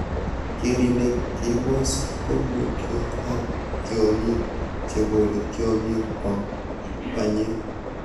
Keer ile keboos komotuyo ak tiongiik che bore tiongik kwam banyek.